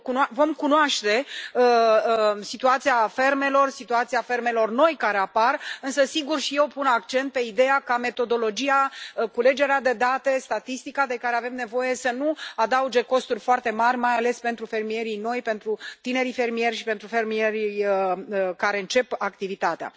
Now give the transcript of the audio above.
Vom cunoaște situația fermelor, situația fermelor noi care apar, însă, sigur, și eu pun accent pe ideea ca metodologia, culegerea de date, statistica de care avem nevoie să nu adauge costuri foarte mari, mai ales pentru fermierii noi, pentru tinerii fermieri și pentru fermierii care încep activitatea.